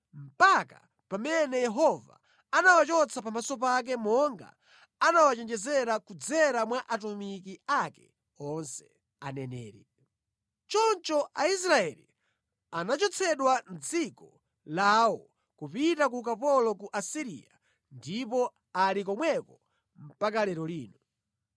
mpaka pamene Yehova anawachotsa pamaso pake monga anawachenjezera kudzera mwa atumiki ake onse, aneneri. Choncho Aisraeli anachotsedwa mʼdziko lawo kupita ku ukapolo ku Asiriya ndipo ali komweko mpaka lero lino.